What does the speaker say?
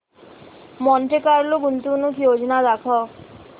Monte Carlo गुंतवणूक योजना दाखव